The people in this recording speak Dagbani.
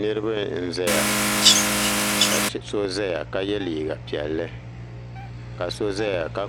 niriba n zaya ka so zaya ka yɛ liga piɛli kaso zaya ka